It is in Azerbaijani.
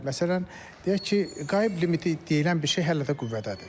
Məsələn, deyək ki, qayıb limiti deyilən bir şey hələ də qüvvədədir.